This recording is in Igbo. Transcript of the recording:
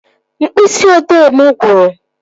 Mkpịsị odee mụ gwụrụ